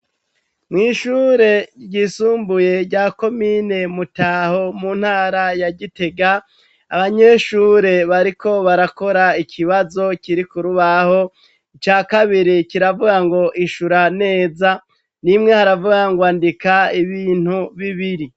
Mw'ishure ryisumbuye rya komine mutaho mu ntara yagitega abanyeshure bariko barakora ikibazo kiri kurubaho ica kabiri kiravuga ngo ishura neza nimwe haravuga ngo andika ibintu bibiri.